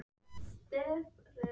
Segist hafa þetta allt á samviskunni.